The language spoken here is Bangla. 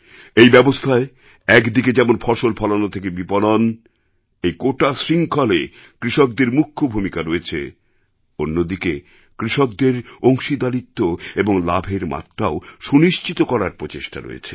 এই ব্যবস্থায় একদিকে যেমন ফসল ফলানো থেকে বিপণন এই গোটা শৃঙ্খলে কৃষকদের মুখ্য ভূমিকা রয়েছে অন্যদিকে কৃষকদের অংশীদারীত্ব এবং লাভের মাত্রাও সুনিশ্চিত করার প্রচেষ্টা রয়েছে